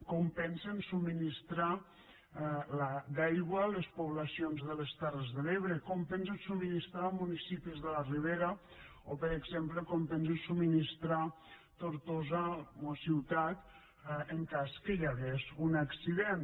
com pensen subministrar l’aigua a les poblacions de les terres de l’ebre com pensen subministrar la a municipis de la ribera o per exemple com pensen subministrar la a tortosa ciutat en cas que hi hagués un accident